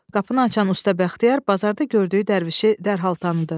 Qapını açan usta Bəxtiyar bazarda gördüyü dərvişi dərhal tanıdı.